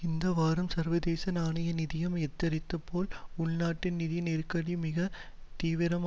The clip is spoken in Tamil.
இந்த வாரம் சர்வதேச நாணய நிதியம் எத்தரித்தது போல் உள்நாட்டு நிதி நெருக்கடி மிக தீவிரம்